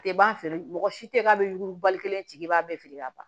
A tɛ ban feere mɔgɔ si tɛ k'a bɛ yugubali kelen sigi i b'a bɛɛ feere ka ban